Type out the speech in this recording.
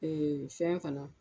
fɛn fana